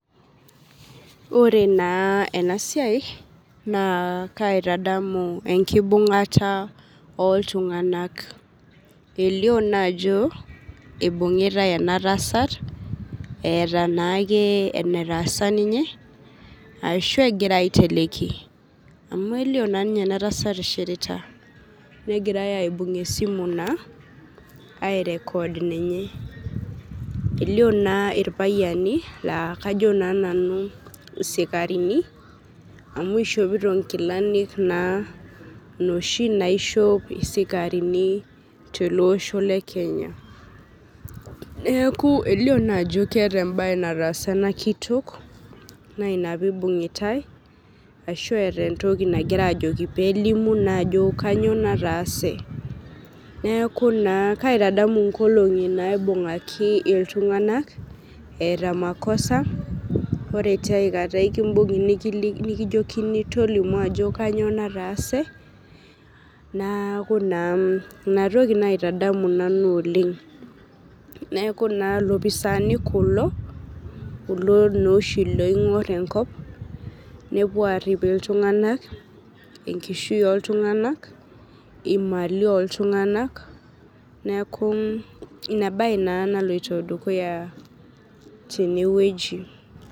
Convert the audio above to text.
ore na ena siai na kaitadamu enkibungata oltunganak, elio na ajo ibungitae ena tasat eta enatasa ninye ashu engirae aiteniki ninye, amu elio na ninye ena tasat ishirita, nengirae na aibung esimu na airecord ninye, elio na ilpayiani la kajo na nanu isikarini, amu ishopito inkilani na inoshi naishop isikarini tele osho le kenya, niaku elio na ajo keta embae natasa ena kitok na ina pibungitae, ashu eta entoki na nangirae ajoki pelimu na ajo kanyio natase, niaku kaitadamu inkolongi naibungaki iltunganak eta makosa ore tiaikata ekibungi nikijokini tolimu ajo kanyio natase niaku ina toki naitadamu nanu oleng, niaku na ilopisani kulo kulo loshi oingor enkop, nepuo arip iltungana enkishui oltungana imalii oltungana niaku na ina bae ena naloito dukuya na tine weuji,